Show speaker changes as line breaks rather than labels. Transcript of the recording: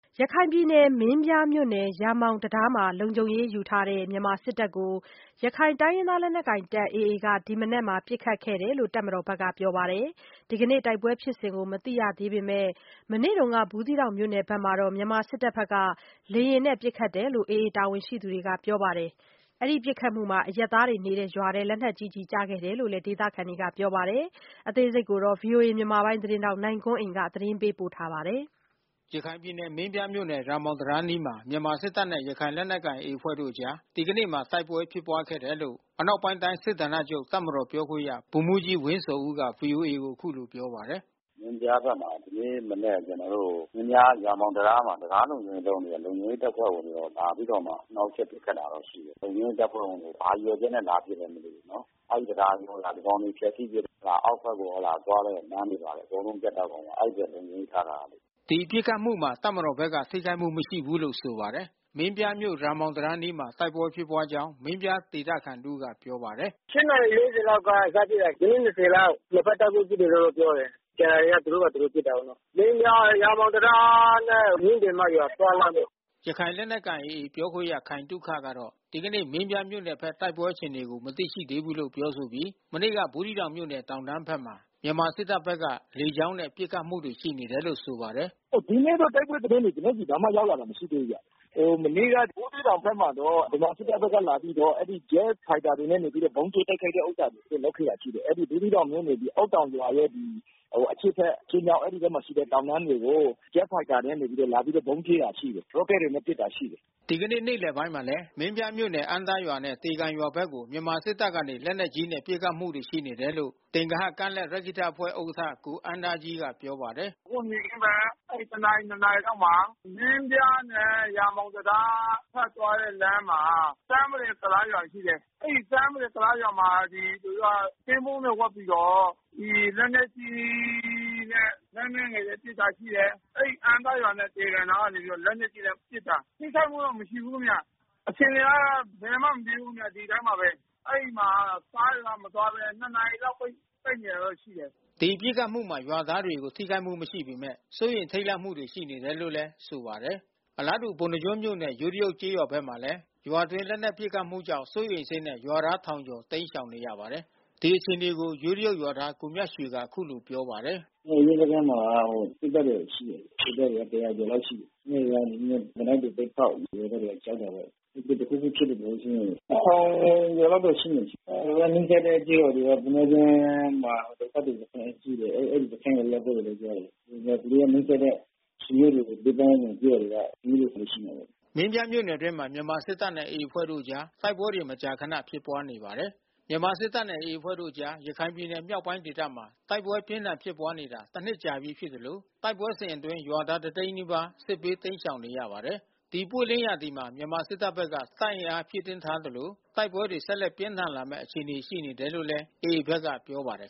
ရခိုင်ပြည်နယ် မင်းပြားမြို့နယ် ရာမောင်တံတားမှာ လုံခြုံရေးယူနေတဲ့ မြန်မာစစ်တပ်ကို ရခိုင်လက်နက်ကိုင် AA အဖွဲ့က ဒီမနက်မှာ ပစ်ခတ်ခဲ့တယ်လို့ တပ်မတော်ဘက်က ပြောပါတယ်။ ဒီနေ့တိုက်ပွဲဖြစ်စဉ်ကို မသိရှိသေးပေမဲ့ မနေ့က ဘူးသီးတောင်မြို့နယ်ဘက်မှာ မြန်မာစစ်တပ်ဘက်က လေယာဉ်နဲ့ ပစ်ခတ်မှု ရှိနေတယ်လို့ AA တာဝန်ရှိသူတွေက ဆိုပါတယ်။ ပစ်ခတ်မှုမှာ အရပ်သားတွေနေတဲ့ ရွာထဲလက်နက်ကြီး ကျည်ကျခဲ့တယ်လို့လည်း ဒေသခံတွေက ဆိုပါတယ်။ ဗွီအိုအေ မြန်မာပိုင်း သတင်းထောက်နိုင်ကွန်းအိန်ကနေ သတင်းပေးပို့ထားပါတယ်။ ရခိုင်ပြည်နယ် မင်းပြားမြို့နယ် ရာမောင်တံတားအနီးမှာ မြန်မာစစ်တပ်နဲ့ ရခိုင်လက်နက်ကိုင် AA အဖွဲ့တို့အကြား ဒီကနေ့မှာ တိုက်ပွဲဖြစ်ပွားခဲ့တယ်လို့ အနောက်ပိုင်းတိုင်း စစ်ဌာနချုပ ်တပ်မတော်ပြောခွင့်ရ ဗိုလ်မှူးကြီးဝင်းဇော်ဦးက ဗွီအိုအေကို အခုလိုပြောပါတယ်။ “မင်းပြားဘက်မှာ ဒီနေ့မနက် ကျနော်တို့ မင်းပြားရာမောင်တံတားမှာ တံတားလုံခြုံရေးလုပ်နေတဲ့ လုံခြုံရေးတပ်ဖွဲ့ဝင်တွေတော့ လာပြီးတော့ နှောက်ယှက်ပစ်ခတ်တာတော့ ရှိတယ်။ လုံခြုံရေးတပ်ဖွဲ့ဝင်တွေကို ဘာရည်ရွယ်ချက်နဲ့ လာပစ်လည်း မသိဘူးနော်။ အဲဒီတံတားကို ဒီကောင်တွေလာပြီး ဖျက်စီးပစ်ရင် အောက်ဘက်ကို သွားတဲ့ လမ်းတွေ ဘာတွေအကုန်လုံး ပြတ်တောက်ကုန်မှာ။ အဲဒီအတွက် လုံခြုံရေးထားထားတာ။” ဒီပစ်ခတ်မှုမှာ တပ်မတော်ဘက်က ထိခိုက်မှုမရှိဘူးလို့ ဆိုပါတယ်။ မင်းပြားမြို့ ရာမောင်တံတားအနီးမှာ တိုက်ပွဲဖြစ်ပွားကြောင်း မင်းပြားဒေသခံ တဦးက ပြောပါတယ်။ “၈ နာရီ ၄၀ လောက်က စဖြစ်တာ မိနစ် ၂၀ လောက် နှစ်ဘက်တိုက်ပွဲ ဖြစ်တယ်လို့တော့ ပြောတယ်။ ကျန်တာတွေကျ သူတို့ဘာသာ သူတို့ပစ်တာပေါ့နော်။ မင်းပြားရာမောင်တံတားနဲ့ မင်းတင်မရွာ သွားလမ်းပေါ့။” ရခိုင်လက်နက်ကိုင် AA ပြောခွင့်ရ ခိုင်သုခကတော့ ဒီကနေ့ မင်းပြားမြို့နယ်ဘက်တ ိုက်ပွဲအခြေအနေကို မသိရှိသေးဘူးလို့ ပြောဆိုပြီး မနေ့က ဘူးသီးတောင်မြို့နယ် တောင်တန်းဘက်မှာ မြန်မာစစ်တပ်ဘက်ကေ လကြောင်းနဲ့ ပစ်ခတ်မှုတွေ ရှိနေတယ်လို့ ဆိုပါတယ်။ “ဒီနေ့တော့တ ိုက်ပွဲသတင်းတွေ ကျနော်ဆီရောက်လာတာ မရှိသေးဘူးဗျ။ မနေ့က ဘူးသီးတောင်ဘက်မှာတော့ ဗမာ စစ်တပ်ဘက်က လာပြီးတော့ ဂျက်ဖိုက်တာတွေနဲ့ ဗုံးကြဲတိုက်ခိုက်တဲ့ဟာတွေ လုပ်ခဲ့တာ ရှိတယ်။ အဲဒီ ဘူးသီးတောင်မြို့နယ် အုတ်တောင်ရွာရဲ့အရှေ့ဘက် အရှေ့မြောက် အဲဒီဘက်မှာရှိတဲ့ တောင်တန်းတွေကို ဂျက်ဖိုက်တာတွေနဲ့ လာပြီး ဗုံးကြဲတာ ရှိတယ်။ ရော့ကက်တွေနဲ့ ပစ်တာရှိတယ်။” ဒီကနေ့ နေ့လယ်ပိုင်းမှာလဲ မင်းပြားမြို့နယ် အမ်းသားရွာနဲ့ သေကန်ရွာဘက်ကို မြန်မာစစ်တပ်ကနေ လက်နက်ကြီးနဲ့ ပစ်ခတ်မှုတွေ ရှိနေတယ်လို့ သင်္ဂဟကမ်းလက်ရက္ခိတအဖွဲ့ဥက္ကဋ္ဌ ကိုအမ်းသားကြီးက ပြောပါတယ်။ “အခုနေ့ခင်းဘက် တနာရီ နှစ်နာရီလောက်မှာ မင်းပြားနဲ့ ရာမောင်တံတားထွက်သွားတဲ့ လမ်းမှာ ဆန်းမတင်ကုလားရွာ ရှိတယ်။ အဲဒီဆန်းမတင်ကုလားရွာမှာ သူတို့က ကင်းပုန်းတွေ ဝတ်ပြီးတော့ ဒီလက်နက်ကြီးနဲ့ လှမ်းပြီးနေ ပစ်တာရှိတယ်။ အဲဒီအမ်းသားရွာနဲ့ သေကန်နားကနေ လက်နက်ကြီးနဲ့ ပစ်တာ။ ထိခိုက်မှုတော့ မရှိဘူးခင်ဗျ။ အခြေအနေကတော့ ဘယ်မှ မပြေးဘူးခင်ဗျ ဒီအတိုင်းပါပဲ။ အဲဒီမှာကားတွေက မသွားဘဲ နှစ်နာရီလောက် ပိတ်နေတာ ရှိတယ်။” ဒီပစ်ခတ်မှုမှာ ရွာသားတွေကို ထိခိုက်မှုမရှိပေမဲ့ စိုးရိမ်ထိတ်လန့်မှုတွေ ရှိနေတယ်လို့လည်း ဆိုပါတယ်။ အလားတူပုဏ္ဏားကျွန်းမြို့နယ်ယိုးတရုတ်ကျေးရွာဘက်မှာလည်း ရွာအတွင်း လက်နက်ပစ်ခတ်မှုကြောင့် စိုးရိမ်စိတ်နဲ့ ရွာသားထောင်ကျော် တိမ်းရှောင်နေရပါတယ်။ ဒီအခြေအနေကို ယိုးတရုတ်ရွာသား ကိုမြတ်ရွှေက အခုလိုပြောပါတယ်။ “ရဲစခန်းမှာတော့ စစ်တပ်တွေ ရှိတယ်။ စစ်တပ်က ၁၀၀ ကျော်လောက်ရှိတယ်။ အဲဒီရွာကနေသေနတ်တွေ ပစ်ဖေါက်တယ်။ ရွာသားတွေက ကြောက်တာပေါ့။ တခုခုဖြစ်မှာကို စိုးရိမ်တယ်။၁၀၀၀ ကျော်ကျော်လောက်တော့ ရှိမယ်။ သူတို့နီးစပ်တဲ့ ကျေးရွာတွေက ပုဏ္ဏားကျွန်းမှာ ဒုက္ခသည်စခန်းတွေ ရှိတယ်။ အဲဒီစခန်းကို ရောက်သွားတယ်လို့ ပြောတယ်။ သူတို့က နီးစပ်တဲ့ဆွေမျိုးတွေ ပတ်ဝန်းကျင်ကျေးရွာက ပြေးတာတော့ ရှိမှာပေါ့။” မင်းပြားမြို့နယ်အတွင်းမှာ မြန်မာစစ်တပ်နဲ့ AA အဖွဲ့တို့အကြား တိုက်ပွဲတွေ မကြာခဏ ဖြစ်ပွားနေပါတယ်။ မြန်မာစစ်တပ်နဲ့ AA အဖွဲ့တို့အကြား ရခိုင်ပြည်နယ်မြောက်ပိုင်းဒေသမှာ တိုက်ပွဲ ပြင်းထန်ဖြစ်ပွားနေတာ တနှစ်ကြာပြီး ဖြစ်သလို တိုက်ပွဲစဉ်အတွင်း ရွာသား တသိန်းနီးပါး စစ်ဘေး တိမ်းရှောင်နေရပါတယ်။ ဒီပွင့်လင်းရာသီမှာ မြန်မာစစ်တပ်ဘက်က တပ်အင်အားဖြည့်တင်းထားသလို တိုက်ပွဲတွေ ဆက်လက်ပြင်းထန်လာမယ့် အခြေအနေရှိတယ်လို့ AA ဘက်က ပြောပါတယ်